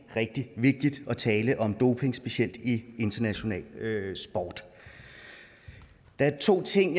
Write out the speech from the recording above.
rigtig vigtigt at tale om doping specielt i international sport der er to ting